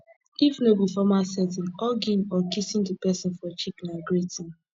if no be formal setting hugging or kissing di person for cheek na greeting